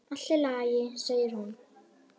Allt í lagi, segir hún.